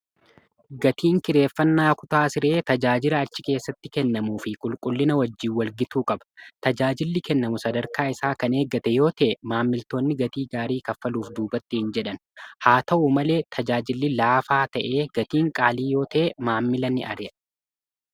gatiin kireeffannaa kutaa siree tajaajila achi keessatti kennamuu fi qulqullina wajjiin walgituu qaba tajaajilli kennamu sadarkaa isaa kan eeggate yoota'e maammiltoonni gatii gaarii kaffaluuf duubattiin jedhan haa ta'u malee tajaajilli laafaa ta'ee gatiin qaalii yoota'e maammila ni ariya